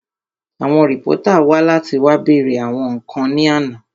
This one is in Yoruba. Àwọn rìpọ́tà wá láti wá bèèrè àwọn ǹkan ní àná